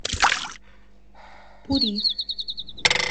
пури